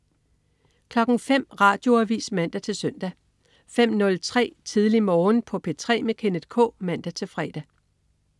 05.00 Radioavis (man-søn) 05.03 Tidlig Morgen på P3 med Kenneth K (man-fre)